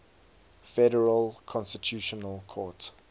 federal constitutional court